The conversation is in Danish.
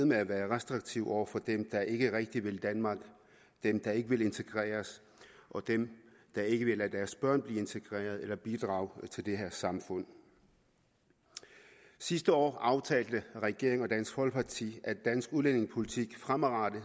med at være restriktive over for dem der ikke rigtig vil danmark dem der ikke vil integreres og dem der ikke vil lade deres børn blive integreret eller bidrage til det her samfund sidste år aftalte regeringen og dansk folkeparti at dansk udlændingepolitik fremadrettet